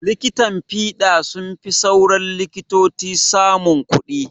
likitan fiɗa sunfi sauran likitoci samun kuɗi